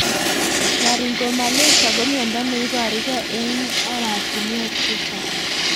Laryngomalacia ko miondo neiparukei eng'oratinwek chechang'